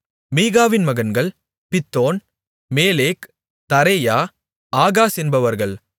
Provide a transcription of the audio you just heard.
மீகாவின் மகன்கள் Pithon Melech Tarea Ahaz என்பவர்கள்